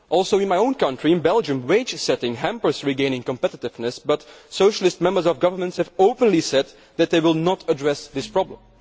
Also in my own country, Belgium, wage setting hampers regaining competitiveness, but Socialist members of governments have openly said that they will not address this problem.